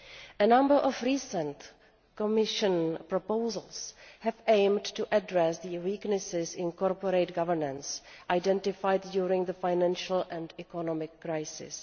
A number of recent Commission proposals have aimed to address the weaknesses in corporate governance identified during the financial and economic crisis.